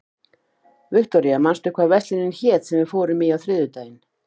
Viktoria, manstu hvað verslunin hét sem við fórum í á þriðjudaginn?